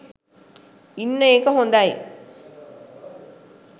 ඉන්න එක හොදයි